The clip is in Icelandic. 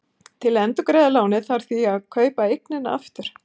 Til að endurgreiða lánið þarf því að kaupa eignina aftur.